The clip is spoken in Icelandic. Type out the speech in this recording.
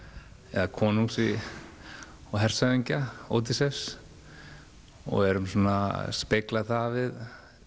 eða konungs og hershöfðingja Ódysseifs og erum svona að spegla það við